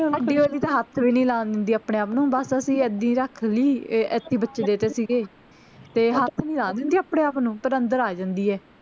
ਸਾਡੀ ਵਾਲੀ ਤਾਂ ਹੱਥ ਵੀ ਨੀ ਲਾਣ ਦਿੰਦੀ ਆਪਣੇ ਆਪ ਨੂੰ ਬਸ ਅਸੀਂ ਏਦੀ ਰੱਖ ਲਈ ਇਹ ਐਥੇ ਹੀ ਬੱਚੇ ਦੇਤੇ ਸੀਗੇ ਤੇ ਹੱਥ ਨੀ ਲਾਣ ਦਿੰਦੀ ਆਪਣੇ ਆਪ ਨੂੰ ਪਰ ਅੰਦਰ ਆ ਜਾਂਦੀ ਆ